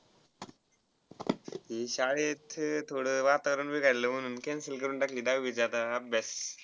ते शाळेत थोडा वातावरण बिघडला म्हणून cancel करून टाकली दहावीचा आता अभ्यास.